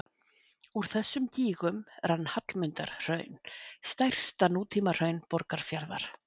Úr þessum gígum rann Hallmundarhraun, stærsta nútímahraun Borgarfjarðar.